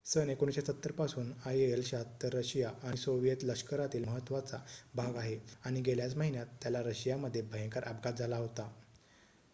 सन १९७० पासून आयएल-७६ रशिया आणि सोव्हिएत लष्करातील महत्त्वाचा भाग आहे आणि गेल्याच महिन्यात त्याला रशियामध्ये भयंकर अपघात झाला होता